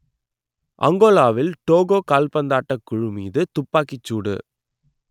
அங்கோலாவில் Togo கால்பந்தாட்டக் குழு மீது துப்பாக்கிச் சூடு